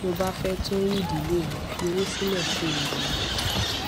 tó o bá fé tún rí ìdílé rẹ fi owó sílè kó o lè ra ọkò